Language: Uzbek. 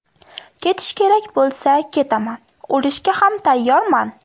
Ketish kerak bo‘lsa ketaman, o‘lishga ham tayyorman.